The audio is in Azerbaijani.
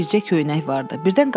əlində bircə köynək vardı.